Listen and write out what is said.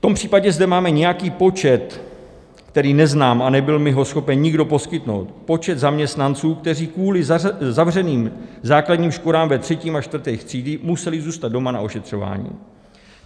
V tom případě zde máme nějaký počet, který neznám a nebyl mi ho schopen nikdo poskytnout, počet zaměstnanců, kteří kvůli zavřeným základním školám ve 3. a 4. třídách museli zůstat doma na ošetřování.